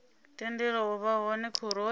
tendelwa u vha hone khoroni